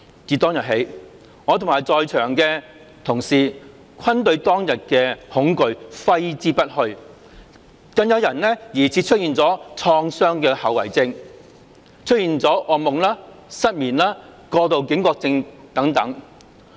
自當日起，我和在場的同事均對當日的恐懼揮之不去，更有人疑似出現了創傷後遺症、噩夢、失眠、過度警覺症等。